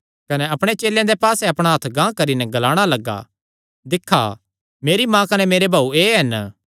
कने अपणे चेलेयां दे पास्से अपणा हत्थ गांह करी नैं ग्लाणा लग्गा दिक्खा मेरी माँ कने मेरे भाऊ एह़ हन